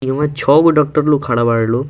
इ में छ गो डॉक्टर लोग खड़ा बाड़े लो ।